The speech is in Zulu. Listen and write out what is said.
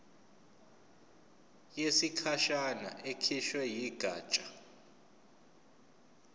yesikhashana ekhishwe yigatsha